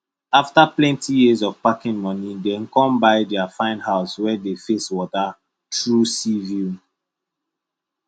after plenty years of packing money dem come buy their fine house wey dey face water true sea view